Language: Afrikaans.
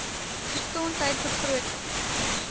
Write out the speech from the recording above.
gesondheidbegrotings